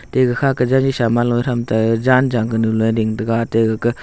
te gakha ka jaji sam loe thram te janjang ganu loe ding tega ate gaka--